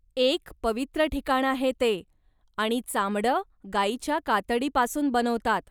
एक पवित्र ठिकाण आहे ते आणि चामडं गाईच्या कातडी पासून बनवतात.